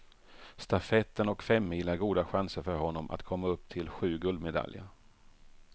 Stafetten och femmil är goda chanser för honom att komma upp till sju guldmedaljer.